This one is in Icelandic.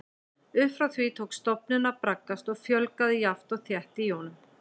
Upp frá því tók stofninn að braggast og fjölgaði jafnt og þétt í honum.